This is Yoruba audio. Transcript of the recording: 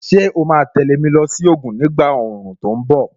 Ṣé o ma tẹ̀lé mi lọ sí Ògùn ni ìgbà òòrùn tó ń bọ̀?